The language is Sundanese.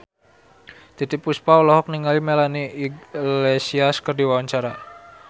Titiek Puspa olohok ningali Melanie Iglesias keur diwawancara